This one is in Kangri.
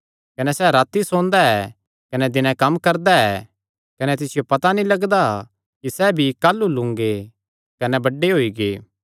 कने सैह़ राती सोंदा ऐ कने दिने कम्म करदा ऐ कने तिसियो पता भी नीं लगदा कि सैह़ बीई काह़लू लूंगे कने बड्डे होई गै